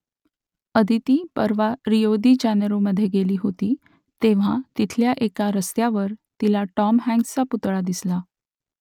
आदिती परवा Rio de जानेरोमधे गेली होती तेव्हा तिथल्या एका रस्त्यावर तिला टॉम हँक्सचा पुतळा दिसला